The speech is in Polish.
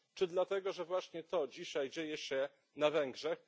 Czy dlatego, że właśnie to dzisiaj dzieje się na Węgrzech?